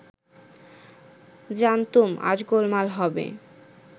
জানতুম আজ গোলমাল হবে